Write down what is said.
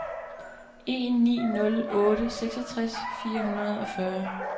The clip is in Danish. en ni nul otte seksogtres fire hundrede og fyrre